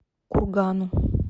кургану